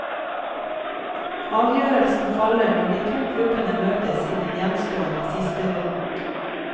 Avgjørelsen faller når de to klubbene møtes i den gjenstående sisterunden.